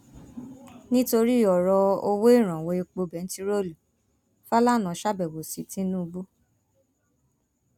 nítorí ọrọ owó ìrànwọ epo bẹntiróòlù fàlànà ṣàbẹwò sí tìǹbù